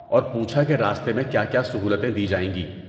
اور پوچھا کہ راستے میں کیا کیا سہولتیں دی جائیں گی۔